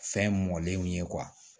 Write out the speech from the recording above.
Fɛn mɔlenw ye